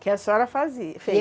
Que a senhora fazia, fez.